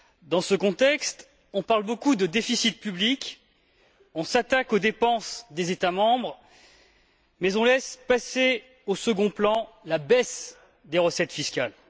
Dans ce contexte, on parle beaucoup de déficit public, on s'attaque aux dépenses des États membres, mais on laisse passer au second plan la baisse des recettes fiscales.